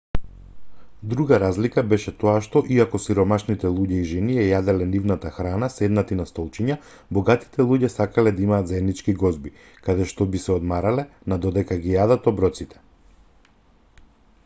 друга разлика беше тоа што иако сиромашните луѓе и жени ја јаделе нивната храна седнати на столчиња богатите луѓе сакале да имаат заеднички гозби каде што би се одмарале на додека ги јадат оброците